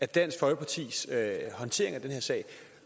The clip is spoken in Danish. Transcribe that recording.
dansk folkepartis håndtering af den her sag